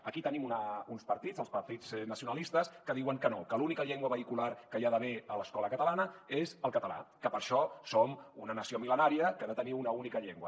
aquí tenim uns partits els partits nacionalistes que diuen que no que l’única llengua vehicular que hi ha d’haver a l’escola catalana és el català que per això som una nació mil·lenària que ha de tenir una única llengua